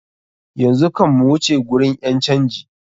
Yanzu kam mu wuce gurin ƴan canji.